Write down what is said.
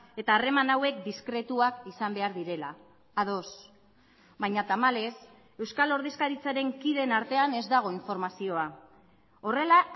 eta harreman hauek diskretuak izan behar direla ados baina tamalez euskal ordezkaritzaren kideen artean ez dago informazioa horrela